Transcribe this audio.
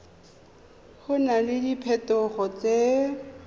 go na le diphetogo tse